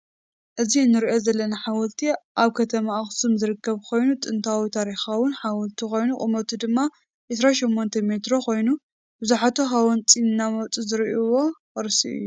እዚ እንሪኦ ዘለና ሓወልቲ አብ ከተማ አክሱም ዝርከብ ኮይኑ ጥንታውን ታሪካውን ሓወልቲ ኮይኑ ቁመቱ ድማ 28 ሜትሮ ኮይኑ ብዝሓት ሃወፅቲ እናመፁ ዝሪኢዎ ቅርሲ እዩ ።